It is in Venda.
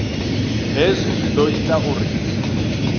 hezwi zwi ḓo ita uri